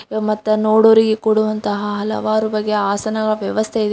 ಮತ್ತ್ ನೋಡೋವರಿಗೆ ಕೂಡುವಂತಹ ಹಲವಾರು ಬಗೆಯ ಆಸನಗಳ ವ್ಯವಸ್ಥೆ ಇದೆ.